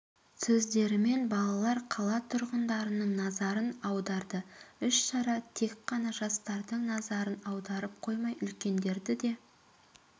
сөздерімен балалар қала тұрғындарының назарын аударды іс-шара тек қана жастардың назарын аударып қоймай үлкендерді де